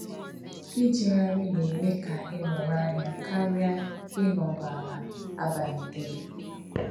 Ijegharị na-eme ka ịmụrụ anya karịa ịnọdụ ala abalị dum.